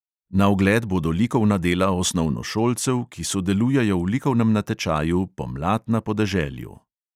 Na ogled bodo likovna dela osnovnošolcev, ki sodelujejo v likovnem natečaju pomlad na podeželju.